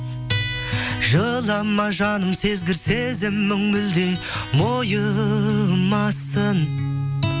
жылама жаным сезгір сезімің мүлде мойымасын